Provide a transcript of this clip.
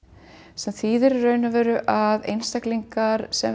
sem þýðir í raun og veru að einstaklingar sem